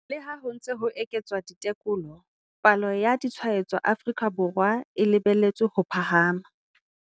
Leha ho ntse ho eketswa ditekolo, palo ya ditshwaetso Aforika Borwa e lebeletswe ho phahama.